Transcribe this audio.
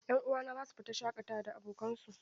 'Yan uwana za su fita shaƙatawa da abokansu.